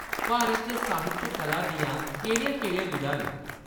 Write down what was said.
भारत च साहित्य कला दियां केह्‌‌ड़ियां-केह्ड़ियां विधां न ?